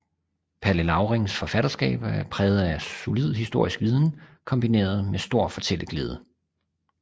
Palle Laurings forfatterskab er præget af en solid historisk viden kombineret med stor fortælleglæde